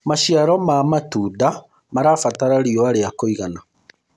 maciaro ma matunda marabatara riũa ria kũigana